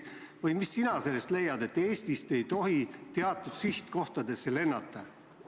Või mis sina sellest arvad, et Eestist ei tohi teatud sihtkohtadesse lennata?